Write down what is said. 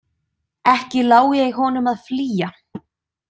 Ekki lái ég honum að flýja.